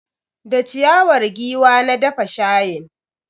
Da ciyawar giwa na dafa shayin.